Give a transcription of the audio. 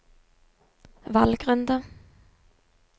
valgrunde